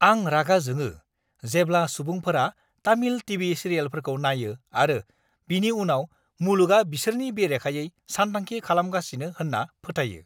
आं रागा जोङो जेब्ला सुबुंफोरा तामिल टीवी सिरियेलफोरखौ नायो आरो बिनि उनाव मुलुगआ बिसोरनि बेरेखायै सानथांखि खालामगासिनो होन्ना फोथायो।